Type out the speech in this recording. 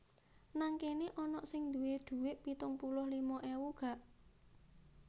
Nang kene onok sing duwe duwek pitung puluh lima ewu gak?